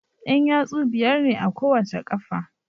Yan yatsu biyar ne a kowace qafa